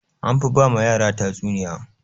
Anfi ba ma yara tatsuniya.